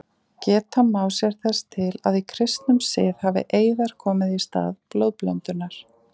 Geta má sér þess til að í kristnum sið hafi eiðar komið í stað blóðblöndunar.